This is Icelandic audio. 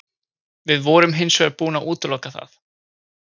Við vorum hins vegar búin að útiloka það.